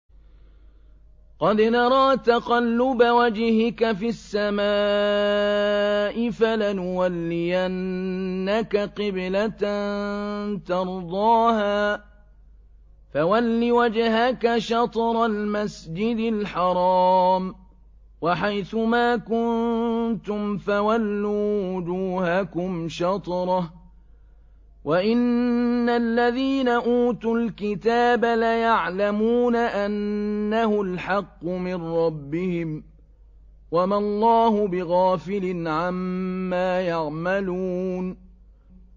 قَدْ نَرَىٰ تَقَلُّبَ وَجْهِكَ فِي السَّمَاءِ ۖ فَلَنُوَلِّيَنَّكَ قِبْلَةً تَرْضَاهَا ۚ فَوَلِّ وَجْهَكَ شَطْرَ الْمَسْجِدِ الْحَرَامِ ۚ وَحَيْثُ مَا كُنتُمْ فَوَلُّوا وُجُوهَكُمْ شَطْرَهُ ۗ وَإِنَّ الَّذِينَ أُوتُوا الْكِتَابَ لَيَعْلَمُونَ أَنَّهُ الْحَقُّ مِن رَّبِّهِمْ ۗ وَمَا اللَّهُ بِغَافِلٍ عَمَّا يَعْمَلُونَ